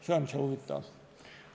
See on huvitav.